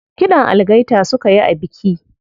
Kiɗan algaita suka yi a biki.